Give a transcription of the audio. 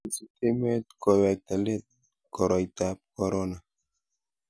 kisut emet kowekta let koroitab korona